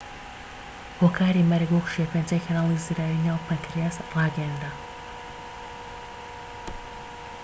هۆکاری مەرگ وەک شێرپەنجەی کەناڵی زراوی ناو پەنکریاس ڕاگەیەنرا